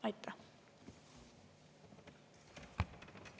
Aitäh!